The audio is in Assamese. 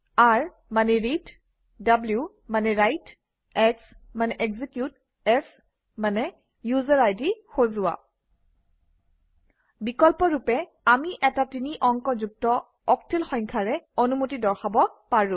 r read w write x execute s user বা গ্ৰুপ আই ডি সজোৱা বিকল্পৰূপে আমি এটা তিনি অংক যুক্ত অক্টেল সংখ্যাৰে অনুমতি দৰ্শাব পাৰোঁ